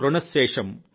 రుణ శేషం